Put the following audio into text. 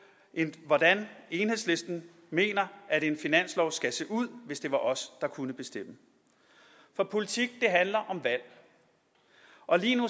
hvordan enhedslisten mener at en finanslov skal se ud hvis det var os der kunne bestemme for politik handler om valg og lige nu